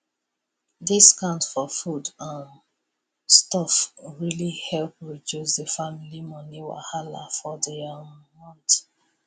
discount for food um stuff really help reduce the family money wahala for the um month